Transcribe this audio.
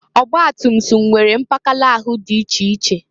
Ọgbatumtum nwere mpakala ahụ dị iche iche.